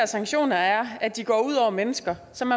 sanktioner er at de går ud over mennesker som